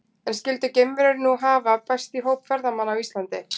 En skyldu geimverur nú hafa bæst í hóp ferðamanna á Íslandi?